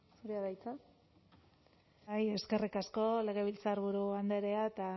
zurea da hitza bai eskerrik asko legebiltzarburu andrea eta